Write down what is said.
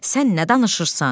Sən nə danışırsan?